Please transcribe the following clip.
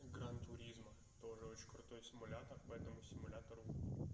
гран туризма тоже очень крутой симулятор по этому симулятору